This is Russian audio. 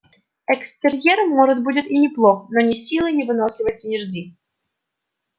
экстерьер может будет и неплох но ни силы ни выносливости не жди